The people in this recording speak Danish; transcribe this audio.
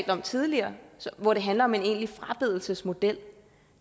om tidligere hvor det handler om en egentlig frabedelsesmodel